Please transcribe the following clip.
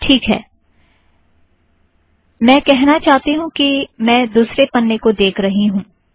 ठीक है मैं कहना चाहती हूँ कि मैं दुसरे पन्ने को देख रही हूँ